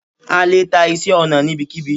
a lè ta iṣẹ ọna níbikíbi